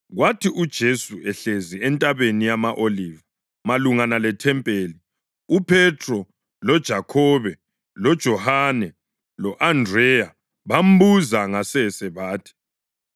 Kwathi uJesu ehlezi eNtabeni yama-Oliva malungana lethempeli uPhethro, loJakhobe, loJohane lo-Andreya bambuza ngasese bathi,